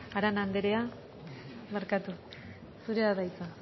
arana andrea zurea da hitza